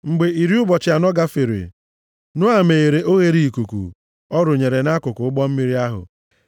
Mgbe iri ụbọchị anọ gafere, Noa meghere oghereikuku ọ rụnyere nʼakụkụ ụgbọ mmiri ahụ,